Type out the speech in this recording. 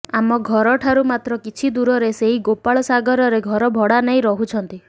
ଆମ ଘରଠାରୁ ମାତ୍ର କିଛି ଦୂରରେ ସେଇ ଗୋପାଳସାଗରରେ ଘର ଭଡାନେଇ ରହୁଛନ୍ତି